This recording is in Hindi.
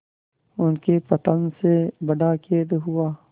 उनके पतन से बड़ा खेद हुआ